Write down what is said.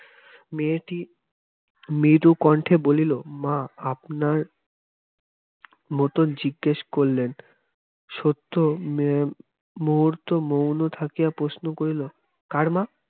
মেয়েটি মৃদুকণ্ঠে বলিল মা আপনার মত জিজ্ঞেস করলেন সত্য মুহূর্ত মৌন থাকিয়া প্রশ্ন করিল কার মা